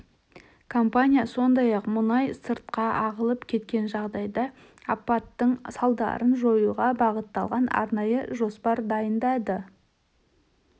компания сондай-ақ мұнай сыртқа ағылып кеткен жағдайда апаттың салдарын жоюға бағытталған арнайы жоспар дайындады